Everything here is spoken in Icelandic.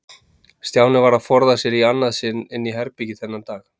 Stjáni varð að forða sér í annað sinn inn í herbergi þennan dag.